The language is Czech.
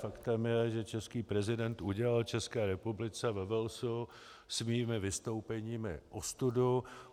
Faktem je, že český prezident udělal České republice ve Walesu svými vystoupeními ostudu.